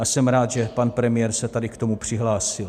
A jsem rád, že pan premiér se tady k tomu přihlásil.